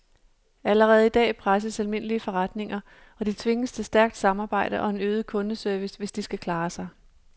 Allerede i dag presses almindelige forretninger, og de tvinges til stærkt samarbejde og en øget kundeservice, hvis de skal klare sig.